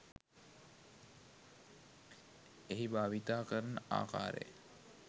එහිභාවිතා කරන ආකාරය